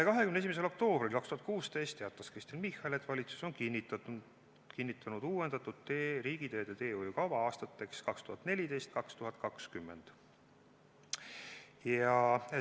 21. oktoobril 2016 teatas Kristen Michal, et valitsus on kinnitanud uuendatud riigiteede teehoiukava aastateks 2014–2020.